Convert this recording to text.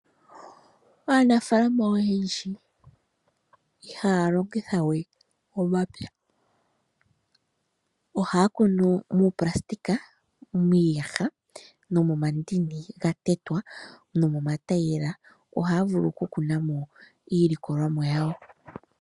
Aanafaalama oyendji ihaya longitha we omapya. Ohaya kunu muupulasitika, miiyaha nomomandi ga tetwa. Nomomatayiyela ohaya vulu okukuna mo iilikolomwa yawo.